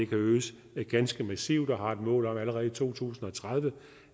kan øges ganske massivt og et mål om at den allerede i to tusind og tredive